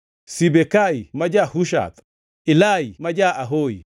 Sibekai ma ja-Hushath, Ilai ma ja-Ahohi,